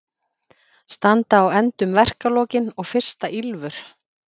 Standa á endum verkalokin og fyrsta ýlfur